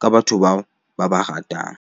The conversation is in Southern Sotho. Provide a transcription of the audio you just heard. ka batho bao ba ba ratang.